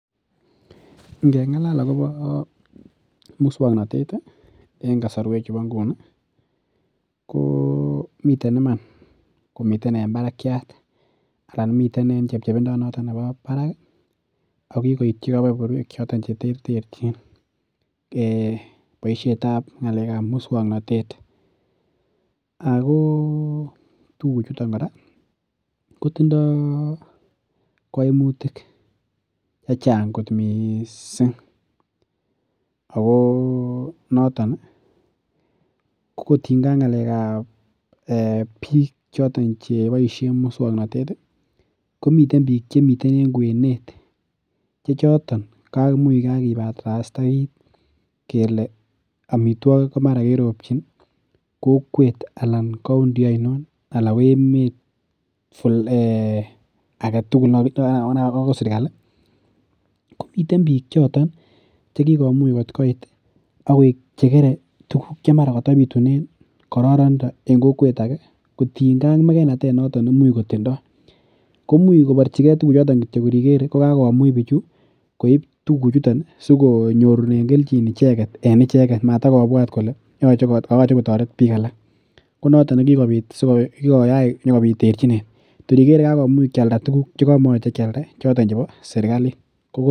Ngeng'alal akobo muswoknatet, en kasarwechubo inguni, komiten iman komiten en barakiat anan miten en chepchepindo noto nebo barak ago kikoityi keberberwek choton cheterterchin. Boisietab muswoknatet. Ago tuguchuton kora kotindoi kaimutik che chang kot mising ago kotinynge ak ngalekab biik choton che boisien muswoknatet komiten biik che miten en kwenet che choton kamuich kagibarasta kit kele amitwogik komara keropchin kokwet anan county ainon anan emet agetugul ago ne kagon sergali komiten biik choton che kikomuch kot koit ak koek che kere tuguk chemara katabitunen kororonindo en kokwet age kotinynge ak megeinatonoto ne imuch kotindo, komuch koborchige tuguchoto kityo kor igere ko kakomuch biichu koip tuguchuto sikonyorune keljin icheget en icheget matakobwat kole kayoche kotaret biik alak. Konoto ne kikoyach sigopit konyo terchinet. Kor igere kokakialda tuguk che komoyoche kialda choto chebo sergalit.